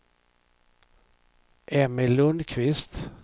Emmy Lundquist